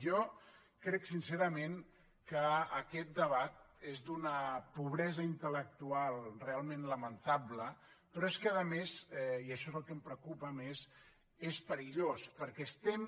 jo crec sincerament que aquest debat és d’una pobresa intellectual realment lamentable però és que a més i axó és el que em preocupa més és perillós perquè estem